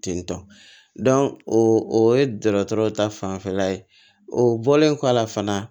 Tentɔ o ye dɔgɔtɔrɔ ta fanfɛla ye o bɔlen kɔ a la fana